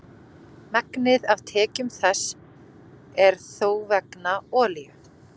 Ég heyrði í Berki í morgun og hann var bara hress.